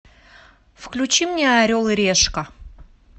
включи мне орел и решка